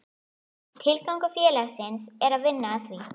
Tilgangur félagsins er að vinna að því